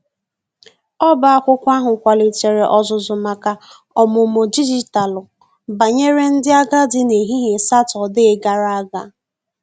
ọba akwụkwo ahu kwalitere ozuzu maka ọmụmụ dịjịtalụ banyere ndi agadi n'ehihie satọde gara aga.